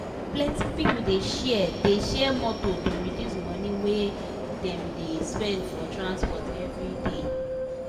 plenti people dey share dey share motor to reduce money wey dem dey spend for transport everyday.